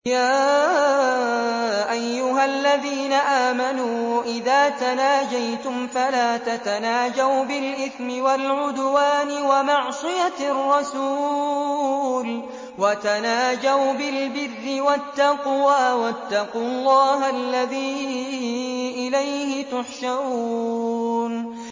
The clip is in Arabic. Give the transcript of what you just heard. يَا أَيُّهَا الَّذِينَ آمَنُوا إِذَا تَنَاجَيْتُمْ فَلَا تَتَنَاجَوْا بِالْإِثْمِ وَالْعُدْوَانِ وَمَعْصِيَتِ الرَّسُولِ وَتَنَاجَوْا بِالْبِرِّ وَالتَّقْوَىٰ ۖ وَاتَّقُوا اللَّهَ الَّذِي إِلَيْهِ تُحْشَرُونَ